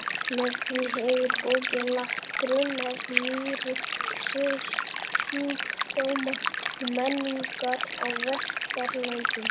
Með því hefur bókin lagt grunn að nýrri sögu sjúkdóma og menningar á Vesturlöndum.